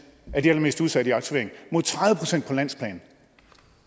af de allermest udsatte i aktivering mod tredive procent på landsplan